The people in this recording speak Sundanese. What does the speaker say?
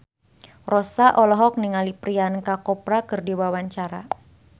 Rossa olohok ningali Priyanka Chopra keur diwawancara